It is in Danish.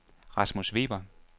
Rasmus Weber